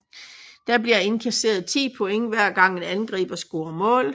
Der bliver indkasseret 10 point hver gang en angriber scorer mål